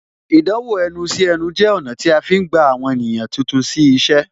Ìdánwò ẹnu sí ẹnu jẹ ọ̀nà tí a fi ń gba àwọn ènìyàn tuntun sí iṣẹ́